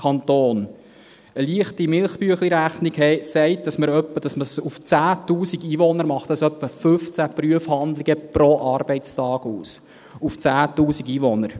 Eine leichte «Milchbüechli-Rechnung» sagt, dass dies auf 10’000 Einwohner etwa 15 Prüfhandlungen pro Arbeitstag ausmacht – auf 10’000 Einwohner.